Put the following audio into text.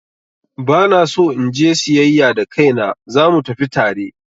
Ba na so in je siyayya da kaina, za mu tafi tare?